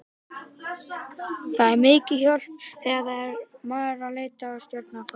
Þetta er mikil hjálp þegar maður er að leita að stjörnu á korti.